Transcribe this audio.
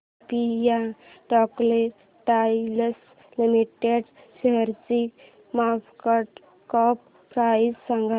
Olympia textiles limited शेअरची market cap price सांगा